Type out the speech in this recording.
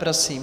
Prosím.